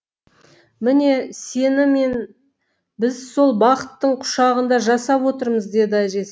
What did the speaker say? міне сені мен біз сол бақыттың құшағында жасап отырмыз деді әжесі